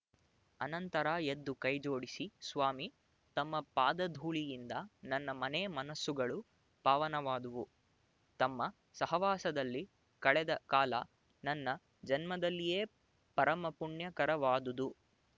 ಅನಂತರ ಎದ್ದು ಕೈ ಜೋಡಿಸಿ ಸ್ವಾಮಿ ತಮ್ಮ ಪಾದಧೂಳಿಯಿಂದ ನನ್ನ ಮನೆ ಮನಸ್ಸುಗಳು ಪಾವನವಾದುವು ತಮ್ಮ ಸಹವಾಸದಲ್ಲಿ ಕಳೆದ ಕಾಲ ನನ್ನ ಜನ್ಮದಲ್ಲಿಯೇ ಪರಮಪುಣ್ಯಕರವಾದುದು